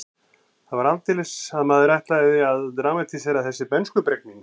Það var aldeilis að maðurinn ætlaði að dramatísera þessi bernskubrek mín.